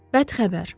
Bəd xəbər.